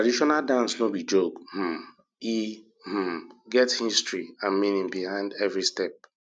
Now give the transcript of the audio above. traditional dance no be joke um e um get history and meaning behind every step